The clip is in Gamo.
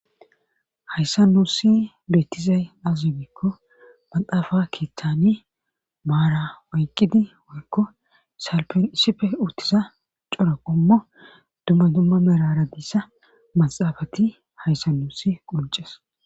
Hayssa nuussi beetizay azibikko maxaafa keeththani maara oyqqidi woykko salpen issife uttiza cora qommo dumma dumma merara diissa maxaafati hayssa nuusi qurces.